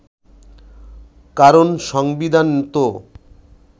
কারণ সংবিধান তো